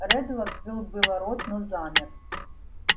реддл открыл было рот но замер